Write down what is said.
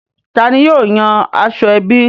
Tani yóò yan aṣọ ẹbí?